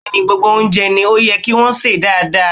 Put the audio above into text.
Bẹ́ẹ̀ ni, gbogbo oúnjẹ ni ó yẹ kí wọn ó sè dáadáa.